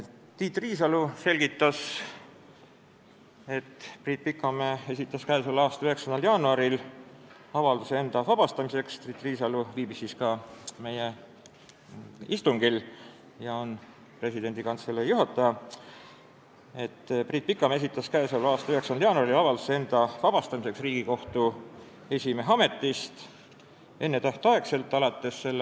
Tiit Riisalo, Presidendi Kantselei juhataja, kes viibis ka meie istungil, selgitas, et Priit Pikamäe esitas k.a 9. jaanuaril avalduse enda ennetähtaegseks vabastamiseks Riigikohtu esimehe ametist alates s.